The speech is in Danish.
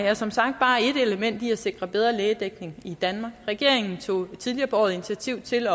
er som sagt bare ét element i at sikre bedre lægedækning i danmark regeringen tog tidligere på året initiativ til